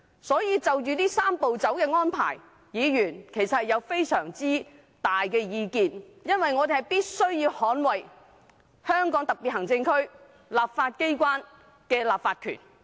因此，就"三步走"的安排，議員其實大有意見，因為我們必須捍衞香港特別行政區立法機關的立法權。